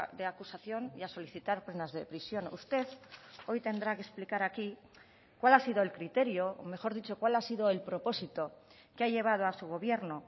de acusación y a solicitar penas de prisión usted hoy tendrá que explicar aquí cual ha sido el criterio mejor dicho cual ha sido el propósito que ha llevado a su gobierno